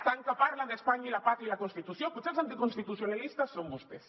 tant que parlen d’espanya i la pàtria i la constitució potser els anticonstitucionalistes són vostès